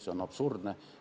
See on absurdne.